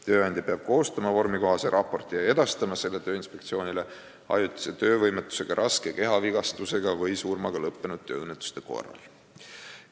Tööandja peab koostama vormikohase raporti ja edastama selle Tööinspektsioonile ajutise töövõimetusega, raske kehavigastusega või surmaga lõppenud tööõnnetuste korral.